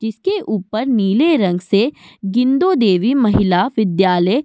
जिसके ऊपर नीले रंग से गिंदो देवी महिला विद्यालय --